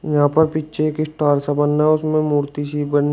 यहां पर पीछे एक स्टार सा बना उसमें मूर्ति सी बनी--